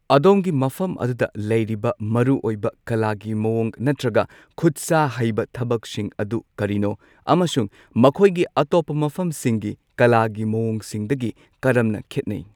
ꯑꯗꯣꯝꯒꯤ ꯃꯐꯝ ꯑꯗꯨꯗ ꯂꯩꯔꯤꯕ ꯃꯔꯨꯑꯣꯏꯕ ꯀꯂꯥꯒꯤ ꯃꯋꯣꯡ ꯅꯠꯇ꯭ꯔꯒ ꯈꯨꯠ ꯁꯥ ꯍꯩꯕ ꯊꯕꯛꯁꯤꯡ ꯑꯗꯨ ꯀꯔꯤꯅꯣ ꯑꯃꯁꯨꯡ ꯃꯈꯣꯏꯒꯤ ꯑꯇꯣꯞꯄ ꯃꯐꯝꯁꯤꯡꯒꯤ ꯀꯂꯥꯒꯤ ꯃꯋꯣꯡꯁꯤꯡꯗꯒꯤ ꯀꯔꯝꯅ ꯈꯦꯠꯅꯩ꯫